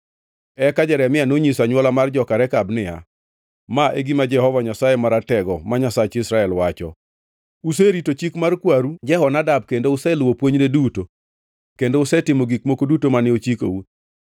Eka Jeremia nonyiso anywola mar joka Rekab niya, “Ma e gima Jehova Nyasaye Maratego, ma Nyasach Israel, wacho: ‘Userito chik mar kwaru Jehonadab kendo useluwo puonjne duto kendo usetimo gik moko duto mane ochikou.’